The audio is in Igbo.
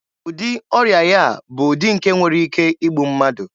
Ụdị ọrịa ya a bụ ụdị nke nwere ike igbu mmadụ.